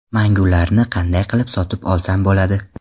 Mangu ’larni qanday qilib sotib olsam bo‘ladi?